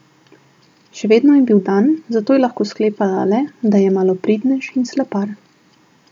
Še vedno je bil dan, zato je lahko sklepala le, da je malopridnež in slepar.